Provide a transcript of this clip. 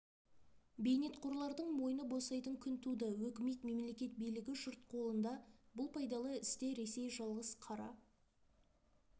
бейнетқорлардың мойны босайтын күн туды өкімет мемлекет билігі жұрт қолында бұл пайдалы істе ресей жалғыз қара